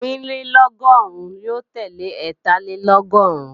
Ẹ́rìnlélọ́gọ́rùn lo tele Ẹ́tàlélọ́gọ́rùn